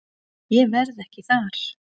Ég verð ekki þar.